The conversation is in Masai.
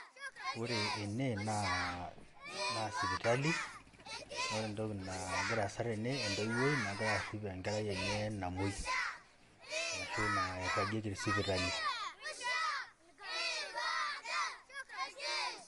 ore ene naa sipitali, naa ore entoki nagira aasa tene naa entoiwoi nagira arrip enkerai enye namoi ashu nairagie te sipitali